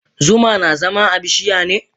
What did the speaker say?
Zuma na zama a bishiya ne?